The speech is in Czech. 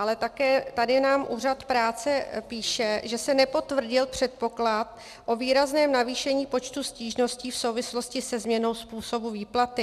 Ale také nám tady úřad práce píše, že se nepotvrdil předpoklad o výrazném navýšení počtu stížností v souvislosti se změnou způsobu výplaty.